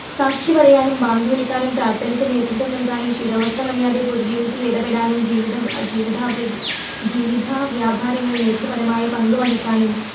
സാക്ഷി പറയാനും, ബാങ്ക് വിളിക്കാനും, പ്രാർഥനയ്ക്ക് നേതൃത്വം നൽകാനും, ശിരോവസ്ത്രം അണിയാതെ പൊതു ജീവിതത്തിൽ ഇടപെടാനും ജീവിത, ജീവിത, ജീവിത വ്യാപാരങ്ങളിൽ നേതൃപരമായ പങ്കുവഹിക്കാനും